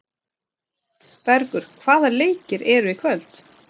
Bergur, hvaða leikir eru í kvöld?